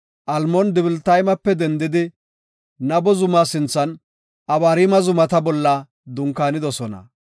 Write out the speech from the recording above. Almoon-Dibilataymape dendidi Nabo zuma sinthan Abariima zumata bolla dunkaanidosona.